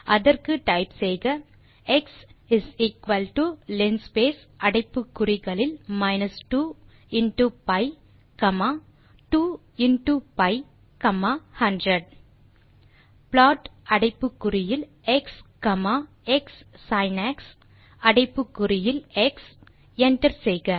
அதற்கு டைப் செய்க x linspace அடைப்புக்குறிகளில் minus 2 into pi comma 2 into pi comma 100 plot அடைப்புக்குறியில் எக்ஸ் காமா க்ஸின்க்ஸ் அடைப்புக்குறியில் எக்ஸ் enter செய்க